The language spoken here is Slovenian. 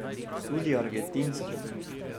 Tudi argentinskimi.